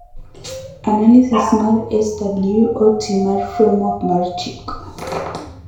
Analysis mar SWOT mar framework mar chik.